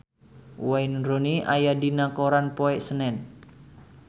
Wayne Rooney aya dina koran poe Senen